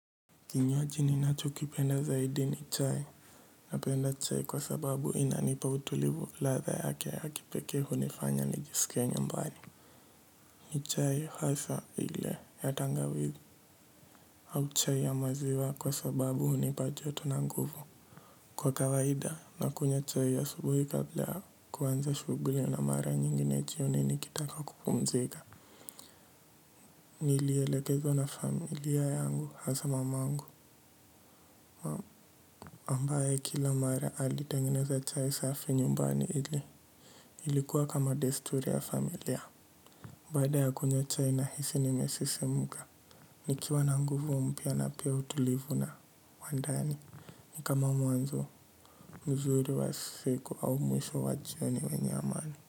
Kinywaji ninacho kipenda zaidi ni chai. Napenda chai kwa sababu inanipa utulivu ladha yake ya kipekee hunifanya nijisikie nyumbani. Ni chai hasa ile ya tangawizi. Au chai ya maziwa kwa sababu hunipa joto na nguvu. Kwa kawaida nakunywa chai asubuhi kabla ya kuanza shughuli na mara nyingine jioni nikitaka kupumzika. Nilielekezo na familia yangu hasa mamangu ambayo kila mara alitengeneza chai safi nyumbani ili ilikuwa kama desturi ya familia. Baada ya kunywa chai nahisi nimesisimuka. Nikiwa na nguvu mpya na pia utulivu na wandani nikama mwanzo mzuri wa siku au mwisho wa jioni wenye amani.